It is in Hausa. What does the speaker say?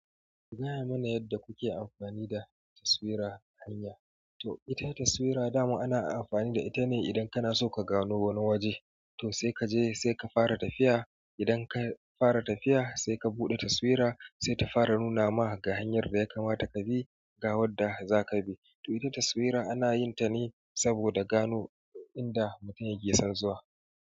Kugaya mana yadda kuke amfani da taswira hanya. To ita taswira dama ana amfani da ita ne idan kana so ka gano wani waje. To sai kaje sai ka fara tafiya. Idan ka fara tafiya sai ka buɗe taswira sai ta fara nuna ma ga hanyar da ya kamata ka bi ga wadda zaka bi. To ita taswira ana yin ta ne saboda gano inda mutum yake son zuwa.